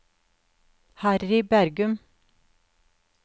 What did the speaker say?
Harry Bergum